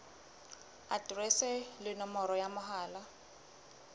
aterese le nomoro ya mohala